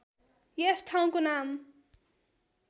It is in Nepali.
यस ठाउँको नाम